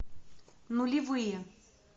нулевые